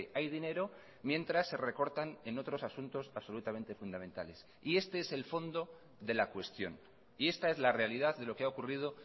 hay dinero mientras se recortan en otros asuntos absolutamente fundamentales y este es el fondo de la cuestión y esta es la realidad de lo que ha ocurrido